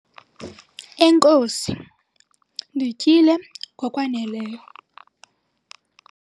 enkosi, ndityile ngokwaneleyo